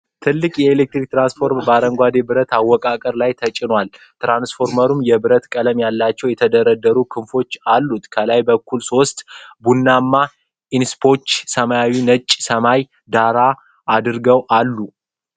ትልቅ የኤሌክትሪክ ትራንስፎርመር በአረንጓዴ ብረት አወቃቀር ላይ ተጭኗል። ትራንስፎርመሩ የብር ቀለም ያላቸው የተደረደሩ ክንፎች አሉት። ከላይ በኩል ሦስት ቡናማ ኢንሱሌተሮች ሰማያዊና ነጭ ሰማይን ዳራ አድርገው አሉ።